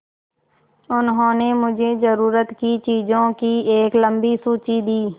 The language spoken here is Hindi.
उन्होंने मुझे ज़रूरत की चीज़ों की एक लम्बी सूची दी